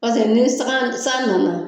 ni san san nana